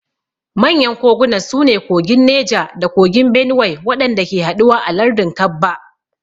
Manyan kogunan su ne kogin Neja da kogin Benuwai waɗanda ke haɗuwa a lardin Kabba.